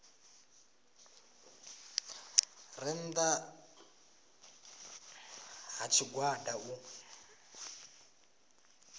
re nnda ha tshigwada u